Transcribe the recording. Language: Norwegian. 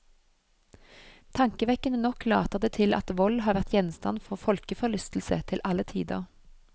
Tankevekkende nok later det til at vold har vært gjenstand for folkeforlystelse til alle tider.